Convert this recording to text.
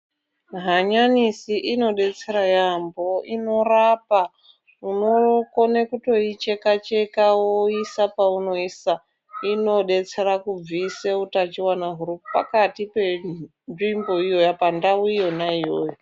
Hanyanisi inodetsera raambo inorapa unokone kutoicheka cheka woisa paunoisa inodetsera kubvise utachiwana huripakati penzvimbo iyoyo pandau iyona iyoyo.